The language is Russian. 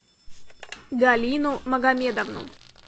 галину магомедовну